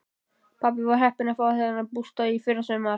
Pabbi var heppinn að fá þennan bústað í fyrrasumar.